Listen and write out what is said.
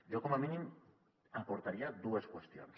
jo com a mínim aportaria dues qüestions